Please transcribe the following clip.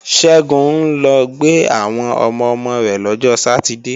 Ṣẹ́gun ń lọ gbé àwọn ọmọ-ọmọ rẹ̀ lọ́jọ sátidée